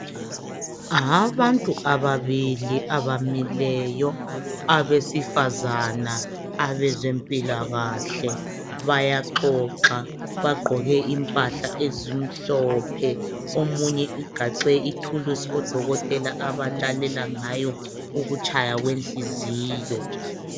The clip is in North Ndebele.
Abantu ababili abamileyo abesifazana abezempilakahle bayaxoxa bagqoke impahla ezimhlophe omunye ugaxe ithulusi odokotela abalalela ngayo ukutshaya kwenhliziyo.